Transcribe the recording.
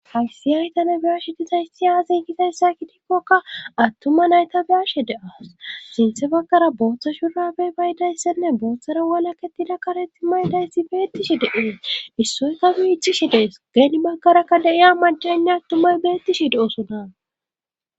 haysi haytana biyashe dizayssi aazin kizayssa ki dikkokka attuma nayta biyashe deas sinthe bagkara booththa shurabey baydayssenne booththara walaketida kareti maydayssi beettishi de7ees issoykka me iccishi dees geeni makarakka deiya majaynna ttumay beettishi de7osona